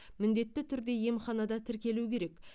міндетті түрде емханада тіркелуі керек